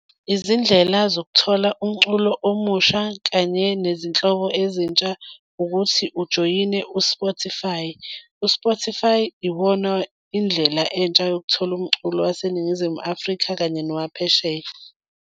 Izindlela zokuthola umculo omusha kanye nezinhlobo ezintsha ukuthi ujoyine u-Spotify. U-Spotify iwona indlela entsha yokuthola umculo waseNingizimu Afrika kanye nowaphesheya.